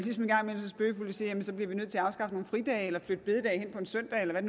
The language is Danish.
så bliver vi nødt til at afskaffe nogle fridage eller flytte bededag hen på en søndag eller hvad